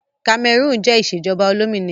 Kamẹrúùn yan ìṣèjọba olómìnira